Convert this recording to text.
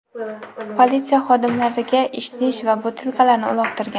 politsiya xodimlariga idish va butilkalarni uloqtirgan.